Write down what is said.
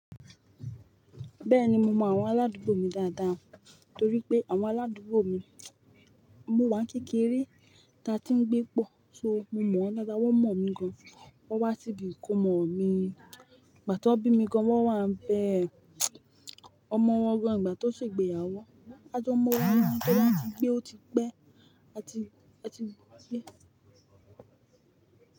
Bẹ́ẹ̀ni mo mọ àwọn aládùúgbò mi dáadáa torí pé àwọn aládùúgbò mi mó wa n kékeré ta tí ń gbé pọ̀ so mo mọ̀ wọ́n dáadáa, wọ́n mọ̀ mí gan. Wọ́n wá síbi ìkómọ mi ìgbà tí wọ́n bí mi gan, wọ́n wá ń bẹ ọmọ wọn gan ìgbà tó ṣe ìgbéyàwó. A jọ mọ́ wọn ní ẹni tí wọ́n ti gbé ó ti pẹ́ à ti, à ti gbé.